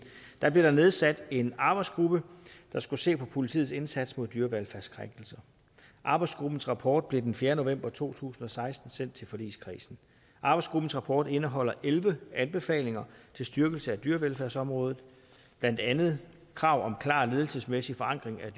blev der nedsat en arbejdsgruppe der skulle se på politiets indsats mod dyrevelfærdskrænkelser arbejdsgruppens rapport blev den fjerde november to tusind og seksten sendt til forligskredsen arbejdsgruppens rapport indeholder elleve anbefalinger til styrkelse af dyrevelfærdsområdet blandt andet krav om klar ledelsesmæssig forankring af